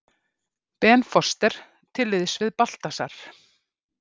Ben Foster til liðs við Baltasar